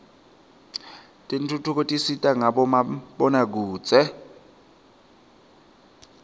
tentfutfuko tisita ngabomabonakudze